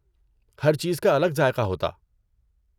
ہر چیز کا الگ ذائقہ ہوتا۔